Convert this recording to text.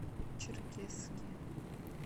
черкесске